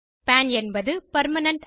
பான் என்பது பெர்மனன்ட்